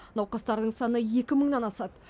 науқастардың саны екі мыңнан асады